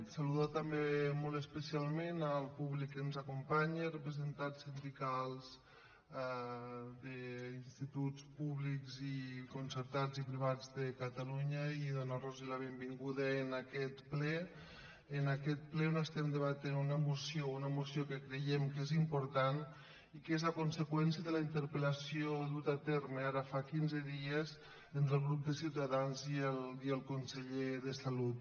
saludar també molt especialment el públic que ens acompanya representants sindicals d’instituts públics i concertats i privats de catalunya i donarlos la benvinguda en aquest ple en aquest ple on estem debatent una moció una moció que creiem que és important i que és la conseqüència de la interpel·terme ara fa quinze dies entre el grup de ciutadans i el conseller de salut